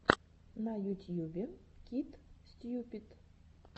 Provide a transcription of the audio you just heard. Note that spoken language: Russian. на ютьюбе кит стьюпид